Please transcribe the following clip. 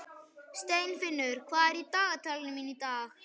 Steinfinnur, hvað er í dagatalinu mínu í dag?